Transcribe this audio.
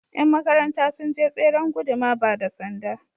Yan makaranta sun je tseren guduma ba da Sanda.